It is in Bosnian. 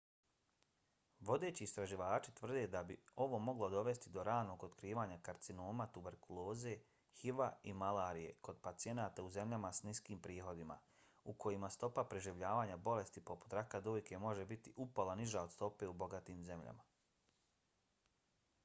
vodeći istraživači tvrde da bi ovo moglo dovesti do ranog otkrivanja karcinoma tuberkuloze hiv-a i malarije kod pacijenata u zemljama s niskim prihodima u kojima stopa preživljavanja bolesti poput raka dojke može biti upola niža od stope u bogatim zemljama